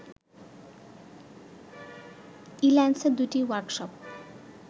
ইল্যান্সের দুটি ওয়ার্কশপ